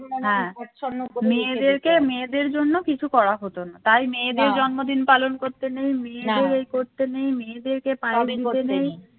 হ্যাঁ মেয়েদেরকে মেয়েদের জন্য কিছু করা হতো না তাই মেয়েদের জন্মদিন পালন করতে নেই মেয়েদের এই করতে নেই মেয়েদেরকে পালন করতে নেই